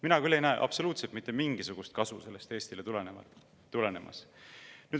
Mina küll ei näe absoluutselt mitte mingisugust kasu sellest Eestile tulenemas.